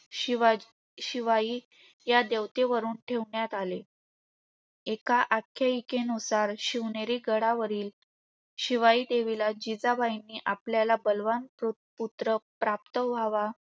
शिवाजी~ शिवाई या देवतेवरून ठेवण्यात आले. एका आख्यायिकेनुसार शिवनेरी गडावरील शिवाई देवीला जिजाबाईंनी आपल्याला बलवान प्रो~ पुत्र प्राप्त व्हावा,